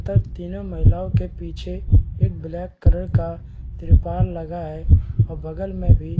तथा तीनो महिला के पीछे एक ब्लैक कलर का तिरपाल लगा है और बगल में भी--